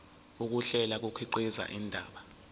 ukuhlela kukhiqiza indaba